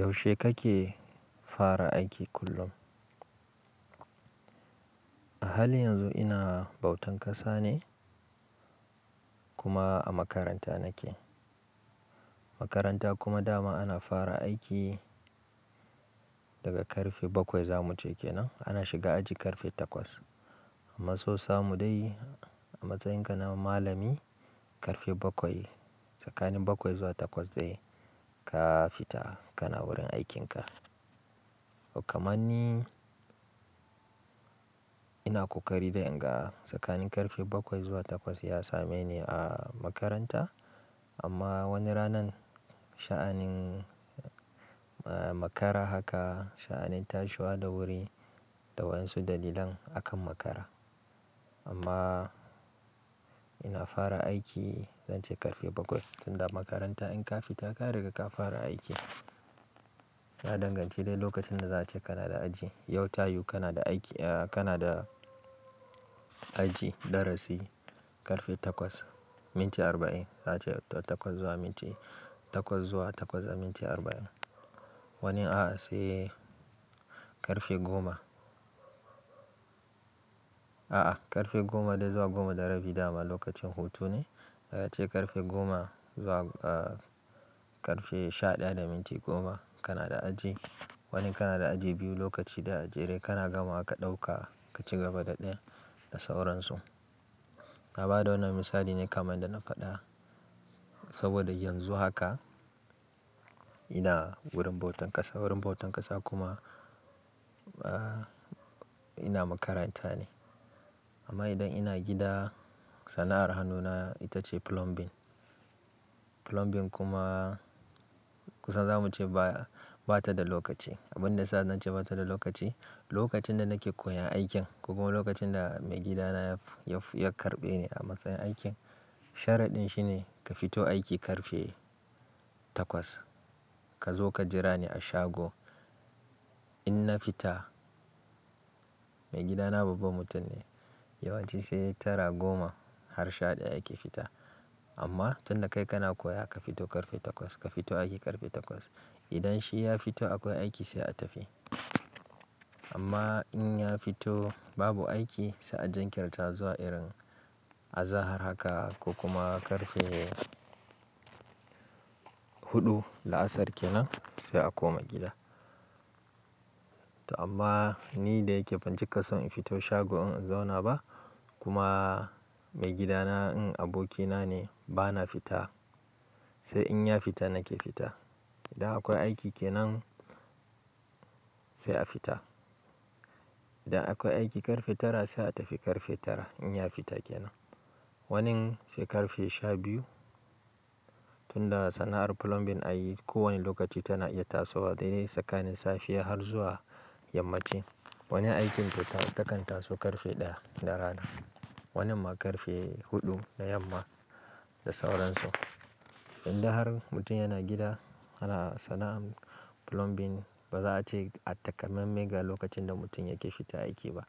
Yaushe kake fara aiki kullum? A halin yanzu ina bautan ƙasa ne kuma a makaranta nake. Makaranta kuma dama ana fara aiki daga karfe bakwai zamu ce kenan. Ana shiga aji karfe takwas. Amma so samu dai a matsayin ga na malami karfe bakwai tsakanin bakwai zuwa takwas dai ka fita kana wurin aikinka. To kaman ni ina kokari dai in ga tsakanin karfe bakwai zuwa takwas ya same ni a makaranta. Amma wani ranan sha'anin eh makara haka sha'anin tashiwa da wuri da wasu dalilan akan makara. Amma ina fara aiki zance karfe bakwai tunda makaranta in ka fita ka riga ka fara aiki. Na danganci dai lokacin da za a ce kana da aji. Yau tayu kana da aiki eh kana da aji darasi karfe takwas minti arba'in. Za'a ce takwas zuwa minti takwas zuwa takwas da minti arba'in. Wani a'a sai karfe goma. A'a karfe goma dai zuwa goma da rabi dama lokacin hutu ne. Za'a ce karfe goma zuwa eh karfe sha ɗaya da minti goma kana da aji. Wani kana da aji biyu lokaci daya a jere kana gama ka ɗauka ka ci gaba da dayan da sauransu. Na bada wannan misali ne kamar yadd na faɗa. Saboda yanzu haka ina wurin bautan ƙasa wurin bautan ƙasa kuma ina makaranta ne. Amma idan ina gida sana'ar hannuna ita ce plumbing. Plumbing kuma kusa zamu ce ba bata da lokaci. Abun da sa nan ce bata da lokaci. Lokacin da nake koyan aikin ko kuma lokacin da maigidana ya ya ya karɓe ni a matsayin aikin sharaɗin shi ne ka fito aiki karfe takwas. Ka zo ka jira ni a shago in na fita. Maigidana babba mutum ne yawanci sai tara goma har sha ɗaya yake fita. Amma tun da kai kana koya ka fito karfe takwas. Ka fito aiki karfe takwas. Idan shi ya fito akwai aiki sai a tafi. Amma in ya fito babu aiki sai a jankirta zuwa irin azahar haka ko kuma karfe huɗu la'asar kenan sai a koma gida. To amma ni da yake bancika son in fito shago in zauna ba kuma maigidana in abokina ne bana fita. Sai in ya fita nake fita. Idan akwai aiki kenan sai a fita. Idan akwai aiki karfe tara sai a tafi karfe tara in ya fita kenan. Wanin sai karfe sha biyu. Tunda sana'ar plumbing a yi ko wani lokaci tana iya tasowa dai dai tsakanin safiya har zuwa yammaci. Wani aikinta ta takan taso karfe ɗaya na rana. Wanin ma karfe huɗu na yamma da sauransu. Indai har mutum yana gida ana sana'ar plumbing ba za'a ce a takammame ga lokacin da mutum yake fita aiki ba.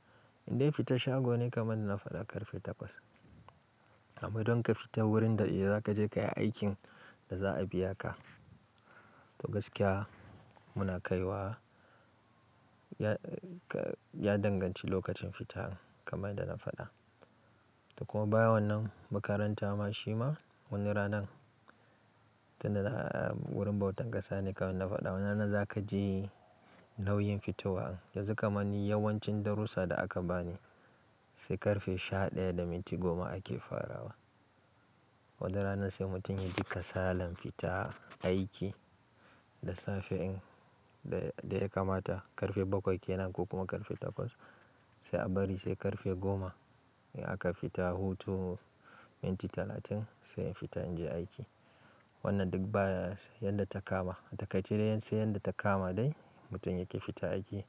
Indai fita shago ne kamar na faɗa karfe takwas. Amma idan ka fita wurin da za ka je ka yi aikin da za'a biya ka. To gaskiya muna kaiwa ya ka ya danganci lokacin fitar kamar yadda na faɗa. To kuma bayan wannan makaranta ma shi ma wani ranan tunda wurin bautan ƙasa ne kamar yadda na faɗa. Wannan na za ka ji nauyin fitowa. Yanzu kamanni yawancin darussa da aka bani sai karfe sha ɗaya da minti goma ake farawa. Wata rana sai mutum ya ji kasalan fita aiki da safe in da ya kamata karfe bakwai kenan ko kuma karfe takwas sai a bari sai karfe goma in aka fita hutu minti talatin sai in fita in je aiki. Wannan duk baya yadda ta kama. A takaice dai sai yadda ta kama dai mutum yake fita aiki.